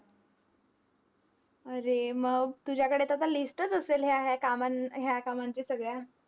अरे मग तुझ्याकडे तर आता list च असेल ह्या ह्या कामां ह्या कामांचे सगळ्या?